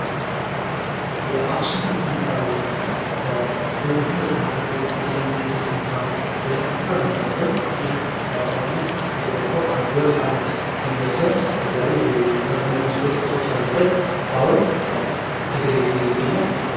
የአክሱም ሥነ ሕንፃ ግንባታ በውብና በተራቀቁ ዲዛይኖች የተገነባ የሕንፃ ግንባታ ሲሆን፤ ይህ ሐውልት የተገነባው ከ አንድ ወጥ አለት ድንጋይ ሲሆን፤ የተለያዩ የበር እና መስኮት ቅርጽ ያሉበት ሐውልት በ ትግሬ ክልል ይገኛል።